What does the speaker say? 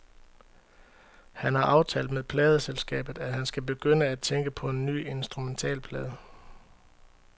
Han har aftalt med pladeselskabet, at han skal begynde at tænke på en ny instrumentalplade.